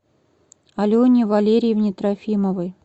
алене валерьевне трофимовой